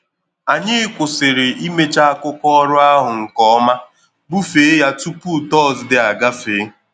Anyị kwụsịrị imecha akụkọ ọrụ ahụ nke ọma bufe ya tupu tọzdee agafe